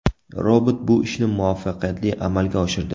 Robot bu ishni muvaffaqiyatli amalga oshirdi.